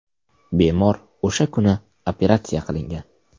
Bemor o‘sha kuni operatsiya qilingan.